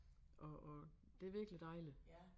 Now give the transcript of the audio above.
Og og det virkelig dejligt